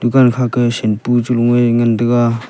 dukan kha ke shampu chalo a ngan tega .